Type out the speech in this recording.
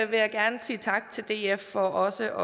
vil jeg gerne sige tak til df for også